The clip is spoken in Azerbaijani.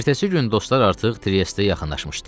Ertəsi gün dostlar artıq Triestə yaxınlaşmışdılar.